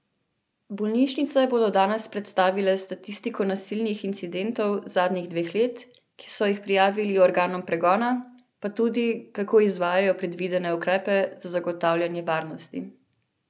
Bolnišnice bodo danes predstavile statistiko nasilnih incidentov zadnjih dveh let, ki so jih prijavili organom pregona, pa tudi, kako izvajajo predvidene ukrepe za zagotavljanje varnosti.